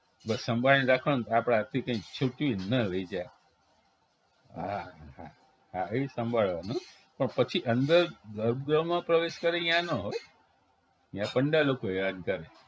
બસ સંભાળીને રાખવાનું આપણાથી કાઈ છૂટી ન રહી જાય હા હા હા ઈ સંભાળવાનું પણ પછી અંદર ગર્ભગૃહમાં પ્રવેશ કરીએ ઈયા ન હોય ઈયા પંડાલ લોકો હેરાન કરે